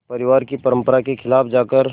परिवार की परंपरा के ख़िलाफ़ जाकर